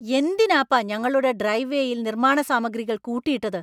എന്തിനാപ്പാ ഞങ്ങളുടെ ഡ്രൈവ് വേയിൽ നിർമ്മാണ സാമഗ്രികൾ കൂട്ടിയിട്ടത്?